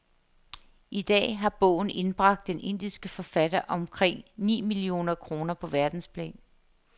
I dag har bogen indbragt den indiske forfatter omkring ni millioner kroner på verdensplan.